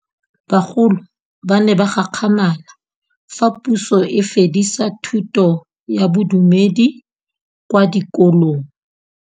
Bagolo ba ne ba gakgamala fa Pusô e fedisa thutô ya Bodumedi kwa dikolong.